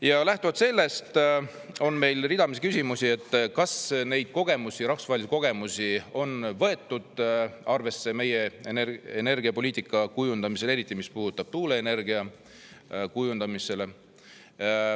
Ja lähtuvalt sellest on meil ridamisi küsimusi, et kas neid kogemusi, rahvusvahelisi kogemusi on võetud arvesse meie energiapoliitika kujundamisel, eriti mis puudutab tuuleenergia kujundamist.